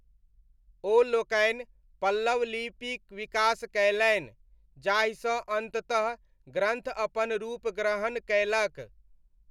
ओ लोकनि पल्लव लिपिक विकास कयलनि, जाहिसँ अन्ततः ग्रन्थ अपन रूप ग्रहण कयलक।